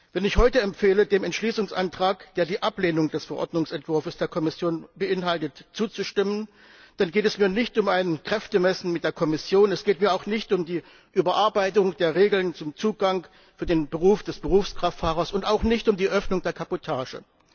Wenn ich heute empfehle, dem Entschließungsantrag, der die Ablehnung des Verordnungsentwurfs der Kommission beinhaltet, zuzustimmen, dann geht es mir nicht um ein Kräftemessen mit der Kommission, es geht mir auch nicht um die Überarbeitung der Regeln zum Zugang für den Beruf des Berufskraftfahrers und auch nicht um die Öffnung der Kabotage.